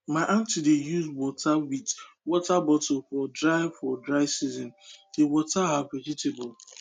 my aunt dey use water wit water bottle for dry for dry season dey water her vegetables